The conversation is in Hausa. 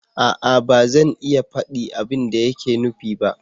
A'a! ba zan iya faɗi abin da yake nufi ba